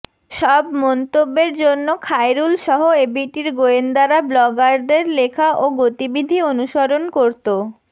সব মন্তব্যের জন্য খায়রুলসহ এবিটির গোয়েন্দারা ব্লগারদের লেখা ও গতিবিধি অনুসরণ করত